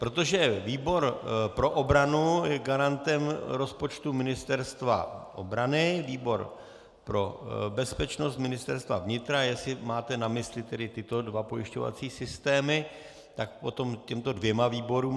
Protože výbor pro obranu je garantem rozpočtu Ministerstva obrany, výbor pro bezpečnost Ministerstva vnitra, jestli máte na mysli tedy tyto dva pojišťovací systémy, tak potom těmto dvěma výborům.